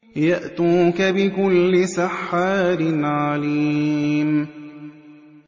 يَأْتُوكَ بِكُلِّ سَحَّارٍ عَلِيمٍ